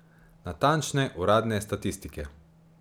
Natančne, uradne statistike.